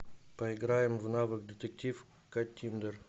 поиграем в навык детектив каттиндер